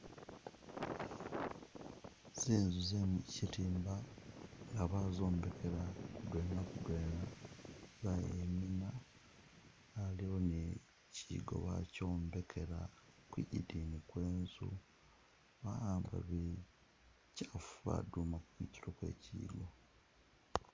Zinzu ze mukyirimba nga bazombekela kudwena kudwena bayimina aliwo ni kyigo bakyombekela kwigidini kwenzu bahamba bikyafu baduma kutilo kwekyiyigo.